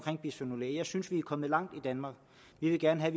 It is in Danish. om bisfenol a jeg synes vi er kommet langt i danmark vi vil gerne have